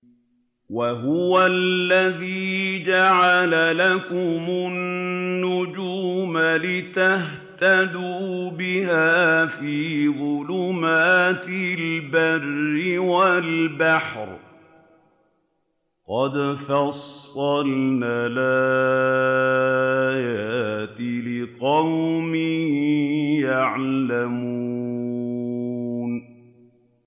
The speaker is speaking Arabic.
وَهُوَ الَّذِي جَعَلَ لَكُمُ النُّجُومَ لِتَهْتَدُوا بِهَا فِي ظُلُمَاتِ الْبَرِّ وَالْبَحْرِ ۗ قَدْ فَصَّلْنَا الْآيَاتِ لِقَوْمٍ يَعْلَمُونَ